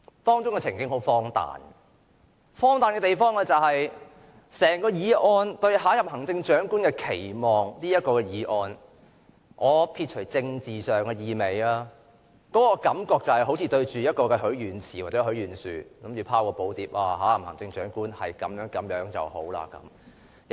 當中的情景很荒誕，荒誕的地方是整項"對下任行政長官的期望"的議案，我撇除政治上的意味，這感覺就好像對着許願池或許願樹，我們拋寶牒，期望下任行政長官最好是如此這般。